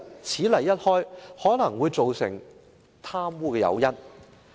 此例一開，可能會造成以後貪污的誘因。